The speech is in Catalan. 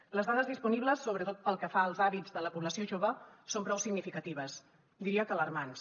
les dades disponibles sobretot pel que fa als hàbits de la població jove són prou significatives diria que alarmants